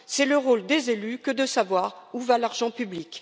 C'est le rôle des élus que de savoir où va l'argent public.